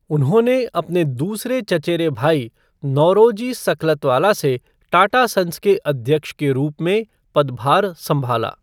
उन्होंने अपने दूसरे चचेरे भाई नौरोजी सकलतवाला से टाटा संस के अध्यक्ष के रूप में पदभार संभाला।